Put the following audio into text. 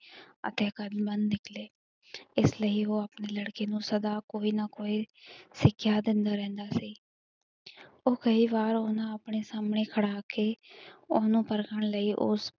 ਆਗਿਆਕਾਰੀ ਵਾਨ ਨਿਕਲੇ ਇਸ ਲਈ ਉਹ ਆਪਣੇ ਲੜਕੇ ਨੂੰ ਸਦਾ ਕੋਈ ਨਾ ਕੋਈ ਸਿੱਖਿਆ ਦਿੰਦਾ ਰਹਿੰਦਾ ਸੀ ਉਹ ਕਈ ਵਾਰ ਓਹਨਾ ਆਪਣੇ ਸਾਹਮਣੇ ਖੜਾ ਕੇ ਓਹਨੂੰ ਪਰਖਣ ਲਈ ਉਸ